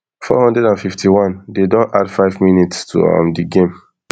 four hundred and fifty-one dey don add five mins to um di game